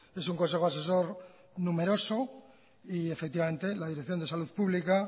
es un consejo asesor numeroso y efectivamente la dirección de salud pública